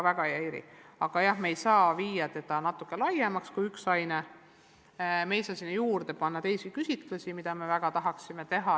Me ei saa sinna juurde panna teisi küsitlusi, mida me vahest väga tahaksime teha.